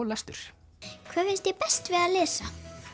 lestur hvað finnst þér best við að lesa